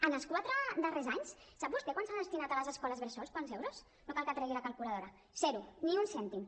en els quatre darrers anys sap vostè quant s’ha destinat a les escoles bressol quants euros no cal que tregui la calculadora zero ni un cèntim